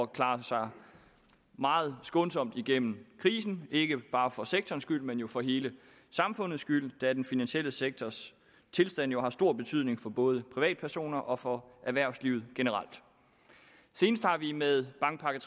klare sig meget skånsomt igennem krisen ikke bare for sektorens skyld men for hele samfundets skyld da den finansielle sektors tilstand jo har stor betydning for både privatpersoner og for erhvervslivet generelt senest har vi med bankpakke